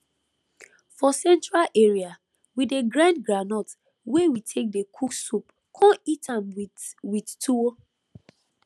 for central area we dey grind groundnut wey we take dey cook soup con eat am with with tuwo